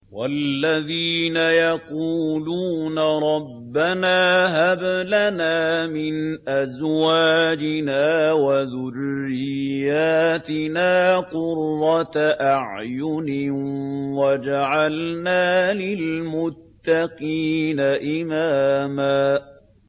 وَالَّذِينَ يَقُولُونَ رَبَّنَا هَبْ لَنَا مِنْ أَزْوَاجِنَا وَذُرِّيَّاتِنَا قُرَّةَ أَعْيُنٍ وَاجْعَلْنَا لِلْمُتَّقِينَ إِمَامًا